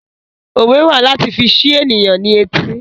Òwe wà láti fi ṣi ènìyàn ní etí